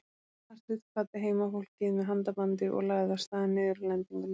Marteinn kvaddi heimafólkið með handabandi og lagði af stað niður að lendingunni.